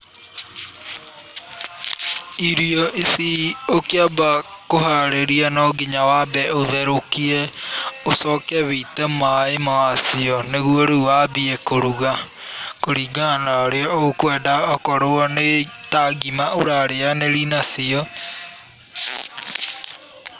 Irio ici ũkĩamba kũharĩria no nginya waambe ũtherũkie, ũcooke wĩite maaĩ maacio, nĩguo rĩũ waambie kũruga kũringana na ũrĩa ũkwenda, okorwo nĩ ta ngima ũrarĩanĩri nacio.